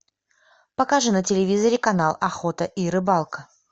покажи на телевизоре канал охота и рыбалка